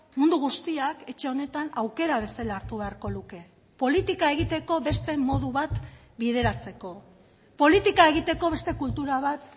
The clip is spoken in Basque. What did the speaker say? mundu guztiak etxe honetan aukera bezala hartu beharko luke politika egiteko beste modu bat bideratzeko politika egiteko beste kultura bat